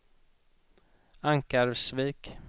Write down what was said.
Ankarsvik